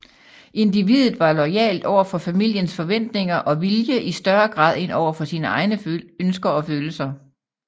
Individet var loyalt over for familiens forventninger og vilje i større grad end over for sine egne ønsker og følelser